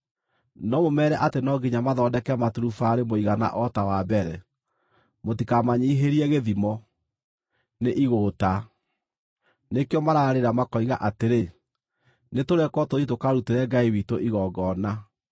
No mũmeere atĩ no nginya mathondeke maturubarĩ mũigana o ta wa mbere; mũtikamanyiihĩrie gĩthimo. Nĩ igũũta; nĩkĩo mararĩra makoiga atĩrĩ, ‘Nĩtũrekwo tũthiĩ tũkarutĩre Ngai witũ igongona.’